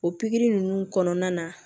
O pikiri ninnu kɔnɔna na